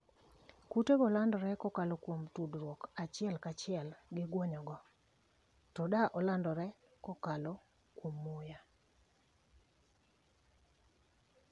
kute go landore kokalo kuom tudruok achiel ka chiel gi guonyo go, to da olandre kokalo kuom muya